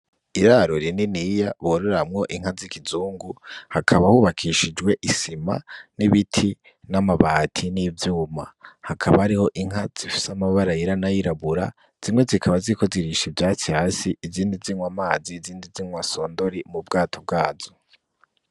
Iraro rininiya bororamwo inka zikizungu hakama hubakishijwe isima, nibiti, namabati ,nivyuma hakaba inka zifise amabara yera nayirabura zimwe zikaba ziriko zirisha ivyasti hasi izindi zinwa amazi izindi zinwa sodori ubwato bwazo.